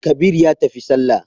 Kabir ya tafi sallah.